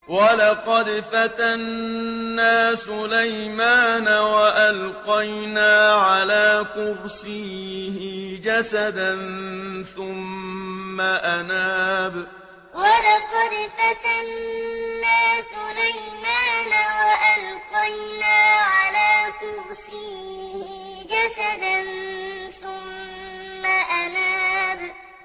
وَلَقَدْ فَتَنَّا سُلَيْمَانَ وَأَلْقَيْنَا عَلَىٰ كُرْسِيِّهِ جَسَدًا ثُمَّ أَنَابَ وَلَقَدْ فَتَنَّا سُلَيْمَانَ وَأَلْقَيْنَا عَلَىٰ كُرْسِيِّهِ جَسَدًا ثُمَّ أَنَابَ